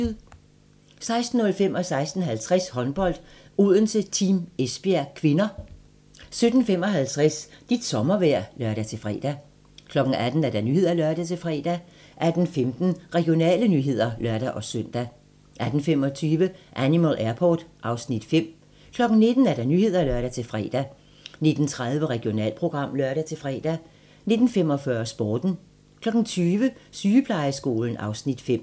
16:05: Håndbold: Odense-Team Esbjerg (k) 16:50: Håndbold: Odense-Team Esbjerg (k) 17:55: Dit sommervejr (lør-fre) 18:00: Nyhederne (lør-fre) 18:15: Regionale nyheder (lør-søn) 18:25: Animal Airport (Afs. 5) 19:00: Nyhederne (lør-fre) 19:30: Regionalprogram (lør-fre) 19:45: Sporten 20:00: Sygeplejeskolen (Afs. 5)